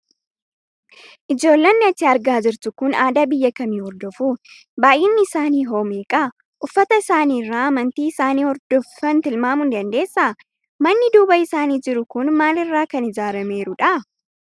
Ijoollonni ati argaa jirtu kun aadaa biyya kamii hordofu? Baay'inni isaanii hoo meeqa? Uffata isaanii irraa amantii isaan hordofan tilmaamuu ni dandeessaa? Manni duuba isaanii jiru kun maal irraa kan ijaarameerudha?